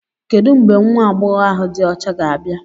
Kedu mgbe nwa agbọghọ ahu di ocha ga-abịa?